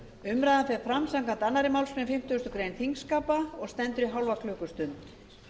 umræðan fer fram samkvæmt annarri málsgrein fimmtugustu grein þingskapa og stendur í hálfa klukkustund